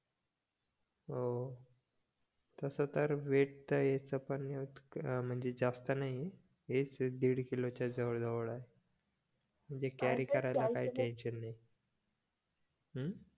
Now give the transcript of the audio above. ह तस तर वेट त याच पण म्हणजे जास्त नाही हेच दीड किलो च्या जवळ जवळ आहे म्हणजे कॅरी करायला काही टेन्शन नाही हम्म